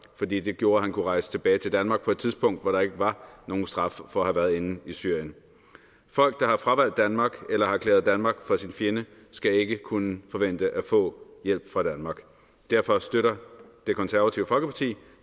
fordi det gjorde at han kunne rejse tilbage til danmark på et tidspunkt hvor der ikke var nogen straf for at have været inde i syrien folk der har fravalgt danmark eller har erklæret danmark for sin fjende skal ikke kunne forvente at få hjælp fra danmark derfor støtter det konservative folkeparti